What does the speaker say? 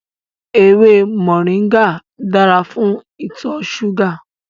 Ewé moringa dára fún ìtọ̀ súgà